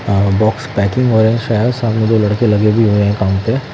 अ box packing और सामने दो लड़के लगे भी हुए हैं काम पे--